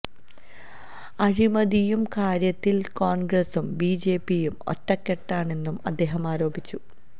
അഴിമതിയുടെ കാര്യത്തില് കോണ്ഗ്രസും ബി ജെ പിയും ഒറ്റക്കെട്ടാണെന്നും അദ്ദേഹം ആരോപിച്ചു